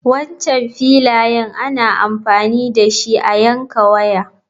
Wancan filayen ana amfani dashi a yanka waya.